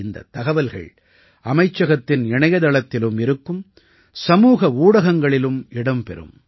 இந்தத் தகவல்கள் அமைச்சகத்தின் இணையத்தளத்திலும் இருக்கும் சமூக ஊடகங்களிலும் இடம் பெறும்